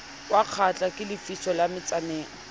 wakgahlwa ke lefiso la metsaneng